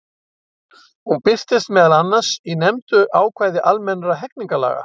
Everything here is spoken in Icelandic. Hún birtist meðal annars í nefndu ákvæði almennra hegningarlaga.